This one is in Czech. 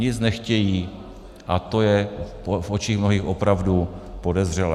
Nic nechtějí a to je v očích mnohých opravdu podezřelé.